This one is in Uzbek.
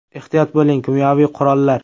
Ehtiyot bo‘ling, kimyoviy “qurollar”!.